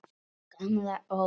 Gamla ógeð!